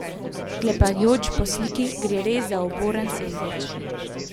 Sklepajoč po sliki, gre res za uboren sendvič.